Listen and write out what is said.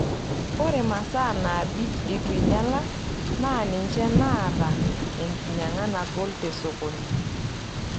Ore masaa naabik eitu einyala naa ninche naata enkinyang'a nagol te sokoni.